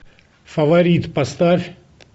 фаворит поставь